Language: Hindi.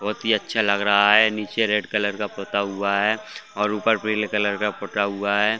बहुत ही अच्छा लग रहा है नीचे रेड कलर का पोता हुआ है और ऊपर पीले कलर का पोता हुआ है।